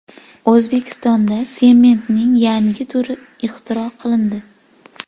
O‘zbekistonda sementning yangi turi ixtiro qilindi.